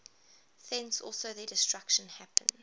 thence also their destruction happens